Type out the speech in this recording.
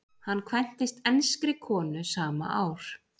Hann kvæntist enskri konu sama ár.